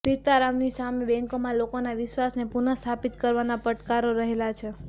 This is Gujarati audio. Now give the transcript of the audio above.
સીતારામનની સામે બેંકોમાં લોકોના વિશ્વાસને પુન સ્થાપિત કરવાના પડકારો રહેલા છે